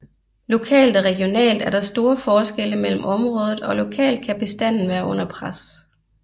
Lokalt og regionalt er der store forskelle mellem området og lokalt kan bestandene være under pres